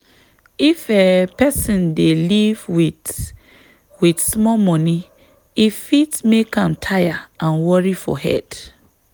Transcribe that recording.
if um person dey live with with small money e fit make am tire and worry for head.